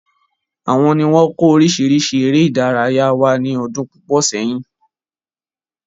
Àwọn ni wọn kò orisirisi ère ìdárayá wá ní ọdún púpọ̀ sẹ́yìn.